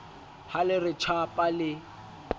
ha le re tjhapa le